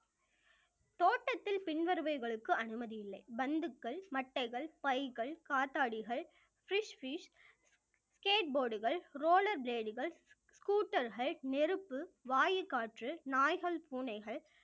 தோட்டத்தில் பின்வருபவைகளுக்கு அனுமதி இல்லை பந்துக்கள், மட்டைகள், பைகள், காத்தாடிகள், skate board கள் roller blade கள் scooter கள் நெருப்பு, வாயு காற்று, நாய்கள், பூனைகள்